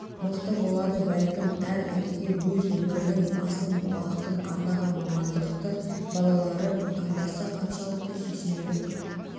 мықты болады бәлкім әр әкеге өз өмірінің басым уақытын арнаған мамандықты балалары таңдаса қаншалықты сүйсінерлік